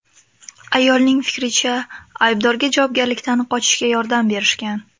Ayolning fikricha, aybdorga javobgarlikdan qochishga yordam berishgan.